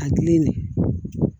A gili de